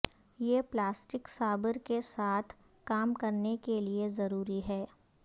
یہ plastic saber کے ساتھ کام کرنے کے لئے ضروری ہے